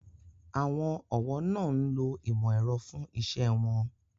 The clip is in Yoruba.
Àwọn ọ̀wọ́ náà ń lo ìmò ẹ̀rọ fún iṣẹ́ won